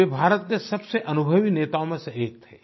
वे भारत के सबसे अनुभवी नेताओं में से एक थे